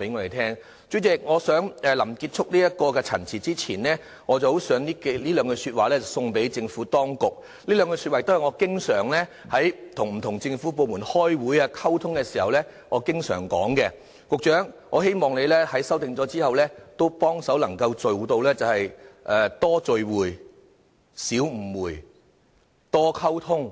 代理主席，我想在臨結束陳辭之前，以下兩句說話送贈政府當局，這兩句說話也是我與不同政府部門開會和溝通時經常使用的，局長，我希望你在作出修訂後，能夠做到"多聚會、少誤會；多溝通，